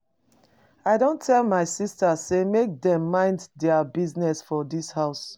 I don tell my sistas sey make dem mind their business for dis house.